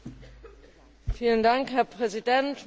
Herr Präsident, meine Damen und Herren!